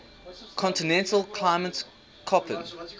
continental climate koppen